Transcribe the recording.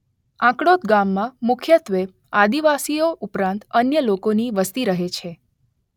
આંકડોદ ગામમાં મુખ્યત્વે આદિવાસીઓ ઉપરાંત અન્ય લોકોની વસ્તી રહે છે.